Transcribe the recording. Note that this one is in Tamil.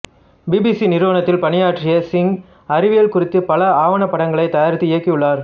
பிபிசி நிறுவனத்தில் பணியாற்றிய சிங் அறிவியல் குறித்த பல ஆவணப்படங்களை தயாரித்து இயக்கியுள்ளார்